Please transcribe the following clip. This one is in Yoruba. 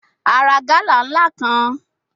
A ra gala nla kan